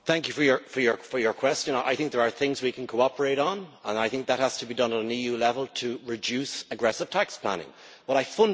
I think there are things we can cooperate on and I think that has to be done at EU level to reduce aggressive tax planning, but I fundamentally disagree with you.